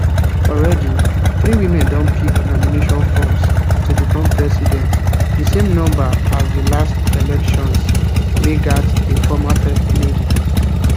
already three women don pick nomination forms to become president di same number as di last elections wey gat a former first lady